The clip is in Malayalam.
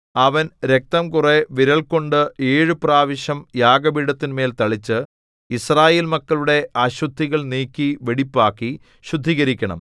അവൻ രക്തം കുറെ വിരൽകൊണ്ട് ഏഴു പ്രാവശ്യം യാഗപീഠത്തിന്മേൽ തളിച്ച് യിസ്രായേൽ മക്കളുടെ അശുദ്ധികൾ നീക്കി വെടിപ്പാക്കി ശുദ്ധീകരിക്കണം